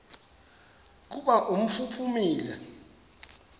kuba umfi uphumile